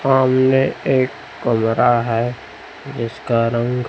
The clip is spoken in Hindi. सामने एक कमरा है जिसका रंग--